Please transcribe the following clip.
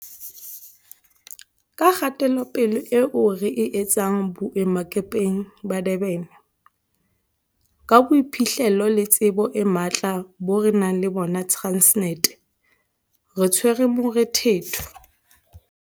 Ka kgatelopele eo re e etsang boemakepeng ba Durban, ka boiphihlelo le tsebo e matla bo re nang le bona Transnet, re tshwere morethetho.